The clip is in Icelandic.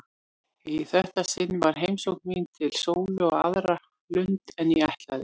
Í þetta sinn var heimsókn mín til Sólu á aðra lund en ég ætlaði.